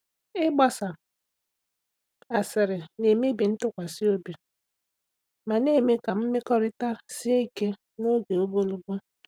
Ịgbasa asịrị na-emebi ntụkwasị obi ma na-eme ka mmekọrịta sie ike n’oge ogologo.